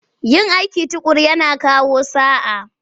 Yin aiki tuƙuru yana kawo sa'a.